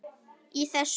í þessu máli.